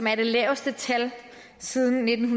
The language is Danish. er det laveste tal siden nitten